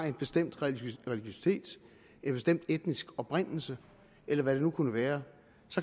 en bestemt religion en bestemt etnisk oprindelse eller hvad det nu kunne være